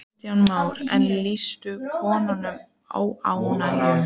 Kristján Már: En lýstu konur óánægju?